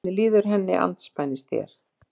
Hvernig líður henni andspænis þér?